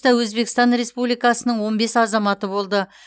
өзбекстан республикасының он бес азаматы болды